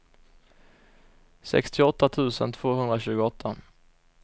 sextioåtta tusen tvåhundratjugoåtta